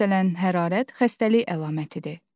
Məsələn, hərarət xəstəlik əlamətidir.